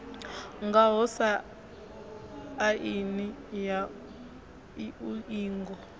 ngaho sa aini ya iuingo